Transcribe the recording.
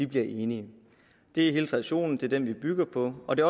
bliver enige det er hele traditionen det er den vi bygger på og det